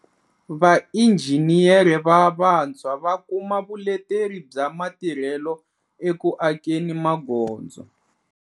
Vainjhiniyere va vantshwa va kuma vuleteri bya matirhelo eku akeni magondzo